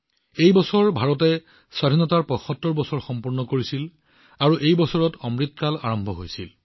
এই বছৰ ভাৰতে স্বাধীনতাৰ ৭৫ বছৰ সম্পূৰ্ণ কৰিছিল আৰু এই বছৰতেই অমৃতকাল আৰম্ভ হৈছিল